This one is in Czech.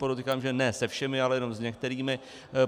Podotýkám, že ne se všemi, ale jenom s některými.